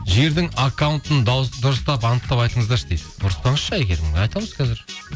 жігердің аккаунтын дұрыстап анықтап айтыңыздаршы дейді ұрыспаңызшы әйгерім айтамыз қазір